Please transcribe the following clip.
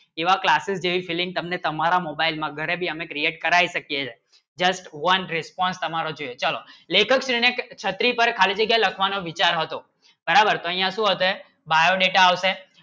જેવા classes દે feeling તમને તમારા mobile માં ઘરે ભી હમને create કરાયી શકે just one response હમારે ચાહિયે ચલો લેખક ને છત્રી પાર ખાલી જગ્ય લખવાનો વિચાર હતો બરાબર ય શું હશે biodata આવશે